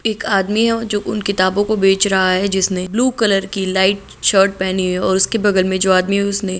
एक आदमी जो उनकी किताबो की बेच रहा है ब्लू कलर की लाइट शर्ट पहनी हुई हैओर उसके बगल मे जो आदमी उसने--